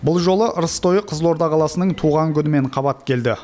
бұл жолы ырыс тойы қызылорда қаласының туған күнімен қабат келді